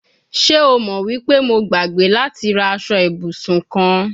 Ṣe o mo wi pe Mo gbagbe lati ra aṣọ ibusun kan